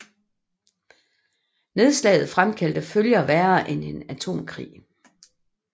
Nedslaget fremkaldte følger værre end en atomkrig